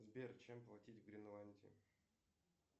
сбер чем платить в гренландии